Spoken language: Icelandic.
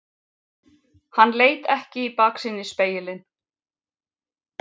Hann leit ekki í baksýnisspegilinn.